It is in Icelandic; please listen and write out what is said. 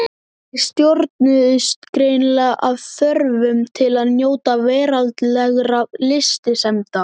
Þeir stjórnuðust greinilega af þörf til að njóta veraldlegra lystisemda.